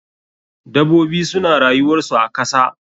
Dabobi suna rayuwar su a kasa.